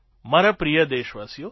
મારા પ્રિય દેશવાસીઓ